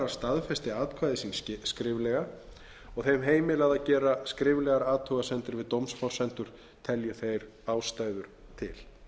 staðfesti atkvæði sín skriflega og hef heimilað að gera skriflegar athugasemdir við dómsforsendur telji þeir ástæður til